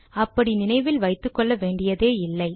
அப்படி நினைவில் வைத்துக்கொள்ள வேண்டியதே இல்லை